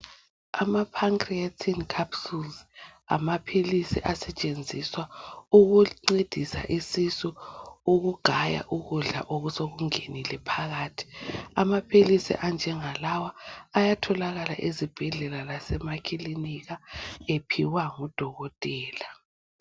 Amapancreatin capsules ngamaphilisi asetshenziswa ukuncedisa isisu ukugaya ukudla osokungenile phakathi. Amaphilisi anjengalawa ayatholakala ezibhedlela lasemakhilinika ephiwa ngudokotela.